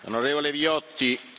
Grazie Presidente.